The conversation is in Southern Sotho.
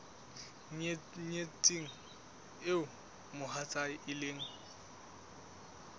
nyetsweng eo mohatsae e leng